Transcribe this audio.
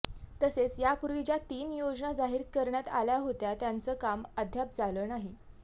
तसेच यापूर्वी ज्या तीन योजना जाहीर करण्यात आल्या होत्या त्याचं काम अद्याप झालं नाही